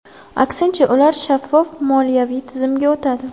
Aksincha, ular shaffof moliyaviy tizimga o‘tadi.